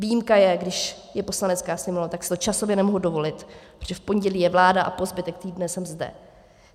Výjimka je, když je Poslanecká sněmovna, tak si to časově nemohu dovolit, protože v pondělí je vláda a po zbytek týdne jsem zde.